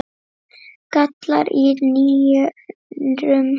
gallar í nýrum